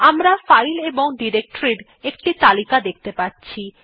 আমরা ফাইল এবং ডিরেক্টরীর একটি তালিকা দেখতে পাচ্ছি